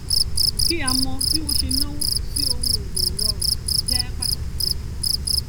kí a mọ bí wọn ṣe náwó sí ohun èlò ìrọrùn jẹ pàtàkì ganan